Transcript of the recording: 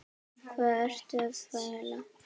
Hvað ertu að fela?